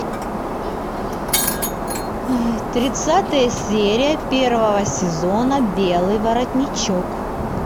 тридцатая серия первого сезона белый воротничок